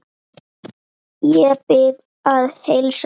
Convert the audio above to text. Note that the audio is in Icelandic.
Ég bið að heilsa ömmu.